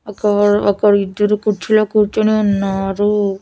ఒకవరు ఒకరు ఇద్దరు కుర్చీలో కూర్చొని ఉన్నారు.